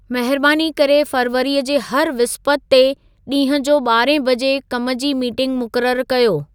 महिरबानी करे फ़रवरीअ जे हर विस्पति ते ॾींहं जो ॿारहं बजे कम जी मीटिंग मुक़ररु कर्यो